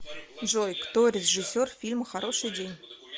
джой кто режиссер фильма хороший день